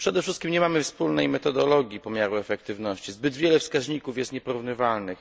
Przede wszystkim nie mamy wspólnej metodologii pomiaru efektywności, zbyt wiele wskaźników jest nieporównywalnych.